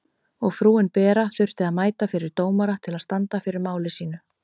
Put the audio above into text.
Og frúin Bera þurfti að mæta fyrir dómara til að standa fyrir máli sínu.